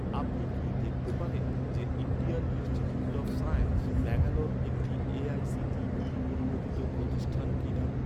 আপনি কি দেখতে পারেন যে, Indian Institute of Science, Bangalore একটি এ.আই.সি.টি.ই অনুমোদিত প্রতিষ্ঠান কিনা?